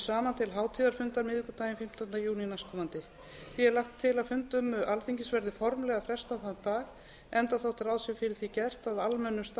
saman til hátíðarfundar miðvikudaginn fimmtánda júní næstkomandi því er lagt til að fundum alþingis verði formlega frestað þann dag enda þótt ráð sé fyrir því gert að almennum